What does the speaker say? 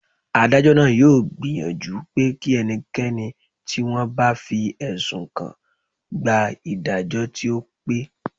Adájọ́ náà yóò gbìyànjú pé kí ẹnikẹ́ni tí wọ́n bá fi ẹ̀sùn kàn gba ìdájọ́ tí ó pé